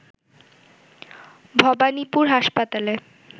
ভবানীপুর হাসপাতালে